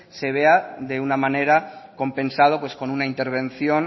se vea de una manera compensado con una intervención